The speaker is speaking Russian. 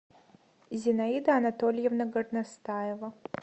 зинаида анатольевна горностаева